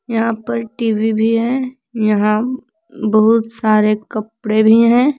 यहां पर टी_वी भी है यहां बहुत सारे कपड़े भी हैं।